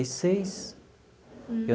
e seis.